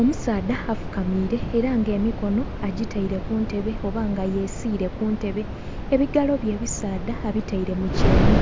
Omusaadha afukamiire era nga emikono agitaile ku ntebe oba nga yesiile ku ntebe, ebigalo bye ebisaadha abitaile mu kyenhi.